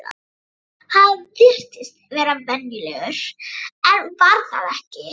Hann virtist vera venjulegur en var það ekki.